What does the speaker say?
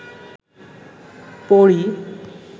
পড়ি